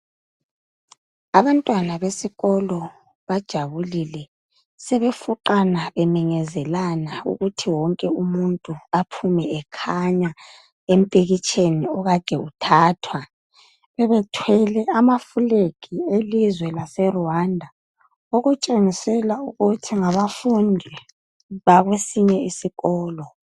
Abantwana besikolo bajabulile. Sebefuqana beminyezelana ukuthi wonke umuntu aphume ekhanya empikitsheni okade uthathwa. Bebethwele abafulegi elizwe laseRwanda okutshengisela ukuthi ngabafundi bakwesinye isikolo.